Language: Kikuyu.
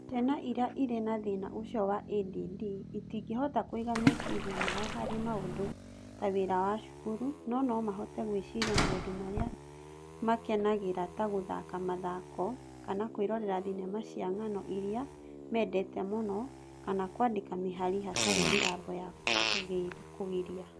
Ciana iria irĩ na thĩna ũcio wa ADD itingĩhota kũiga meciria mao harĩ maũndũ ta wĩra wa cukuru, no nomahote gwĩciria maũndũ marĩa makenagĩra ta gũthaka mathako kana kwĩrorera thenema cia ng'ano iria mendete mũno kana kwandĩka mĩhari hatarĩ mĩgambo ya kũgiria.